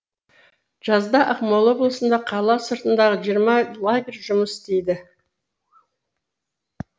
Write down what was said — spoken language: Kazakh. жазда ақмола облысында қала сыртындағы жиырма лагерь жұмыс істейді